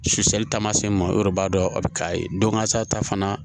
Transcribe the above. Suli taamasiyɛn ma o yɛrɛ b'a dɔn a bɛ k'a ye don kasa ta fana